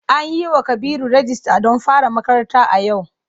An yiwa Kabiru rijista don fara makaranta a yau.